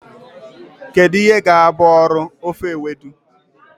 Kedu ihe ga-abụ ọrụ ofe Ewedu?